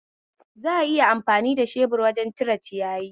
Za'a iya amfani da shebur wajen cire ciyayi